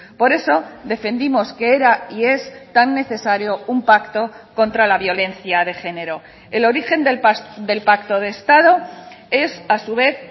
por eso defendimos que era y es tan necesario un pacto contra la violencia de género el origen del pacto de estado es a su vez